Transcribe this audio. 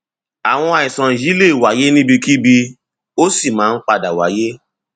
àwọn àìsàn yìí lè wáyé níbikíbi ó sì máa ń padà wáyé